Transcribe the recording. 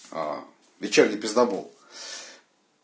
печальный пиздабол